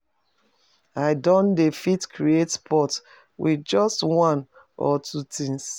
I don dey fit create pot with just one or two things